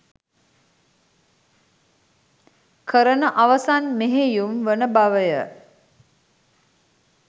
කරන අවසන් මෙහෙයුම් වන බවය.